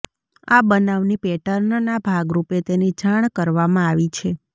આ બનાવની પેટર્નના ભાગરૂપે તેની જાણ કરવામાં આવી છે